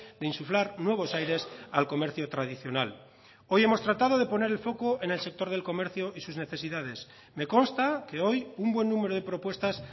de insuflar nuevos aires al comercio tradicional hoy hemos tratado de poner el foco en el sector del comercio y sus necesidades me consta que hoy un buen número de propuestas